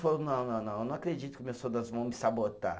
Falou, não, não, não, não acredito que os meus soldados vão me sabotar.